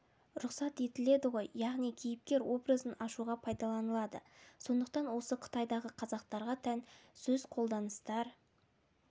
рұқсат етіледі ғой яғни кейіпкер образын ашуға пайдаланылады сондықтан осы қытайдағы қазақтарға тән сөз қолданыстар